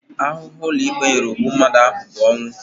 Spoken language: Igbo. Ahụhụ ụlọikpe nyere ogbu mmadụ ahụ bụ ọnwụ